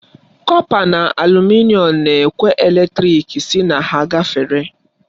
Kọpa na alumịnịọn na-ekwe eletrik sị na ha gafere.